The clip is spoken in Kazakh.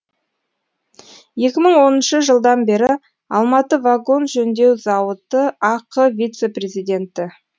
екі мың оныншы жылдан бері алматы вагон жөндеу зауыты ақ вице президенті